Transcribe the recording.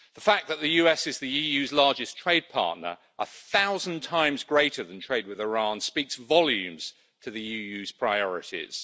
The fact that the US is the EU's largest trade partner, a thousand times greater than trade with Iran, speaks volumes to the EU's priorities.